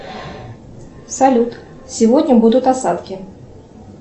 салют сегодня будут осадки